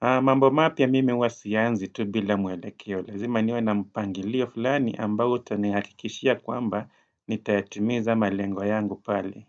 mambo mapya mimi huwa siyaanzi tu bila mwelekeo Lazima niwe na mpangilio fulani ambao utanihakikishia kwamba nitayatimiza malengo yangu pale.